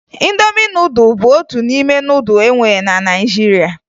Ịndomi nudụ bụ otu n'ime nudụ ndị e nwere na Naịjirịa